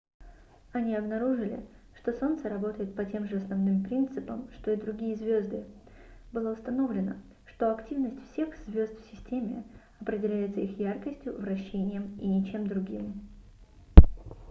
они обнаружили что солнце работает по тем же основным принципам что и другие звёзды было установлено что активность всех звёзд в системе определяется их яркостью вращением и ничем другим